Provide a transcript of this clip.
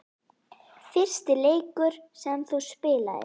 Fyrsti leikur sem þú spilaðir?